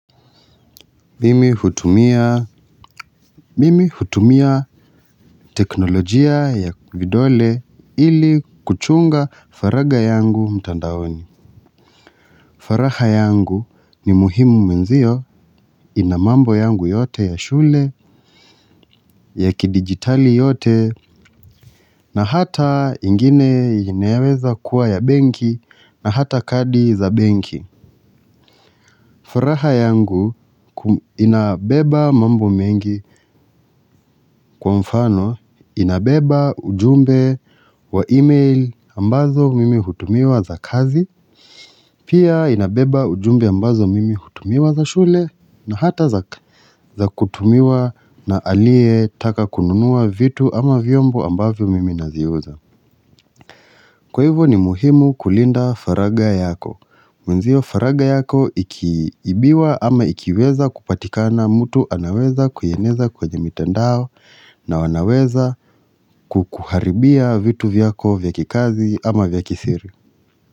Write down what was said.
Mimi hutumia teknolojia ya vidole ili kuchunga faragha yangu mtandaoni. Faragha yangu ni muhimu mwenzio ina mambo yangu yote ya shule, ya kidigitali yote na hata ingine inaweza kuwa ya benki na hata kadi za benki. Faraha yangu inabeba mambo mengi kwa mfano, inabeba ujumbe wa email ambazo mimi hutumiwa za kazi, pia inabeba ujumbe ambazo mimi hutumiwa za shule na hata za kutumiwa na aliyetaka kununua vitu ama vyombo ambavyo mimi naziuza. Kwa hivyo ni muhimu kulinda faragha yako. Mwenzio faragha yako ikiibiwa ama ikiweza kupatikana mtu anaweza kuieneza kwenye mitandao na wanaweza kukuharibia vitu vyako vya kikazi ama vya kisiri.